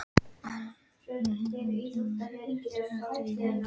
Arndór, stilltu tímamælinn á tuttugu og þrjár mínútur.